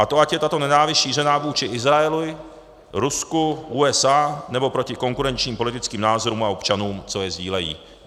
A to, ať je tato nenávist šířena vůči Izraeli, Rusku, USA, nebo proti konkurenčním politickým názorům a občanům, co je sdílejí.